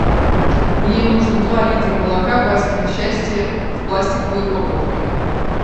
мне нужно два литра молока васькино счастье в пластиковой упаковке